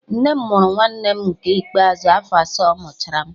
Nne m mụrụ nwanne m nke ikpeazụ afọ asaa ọmụchara m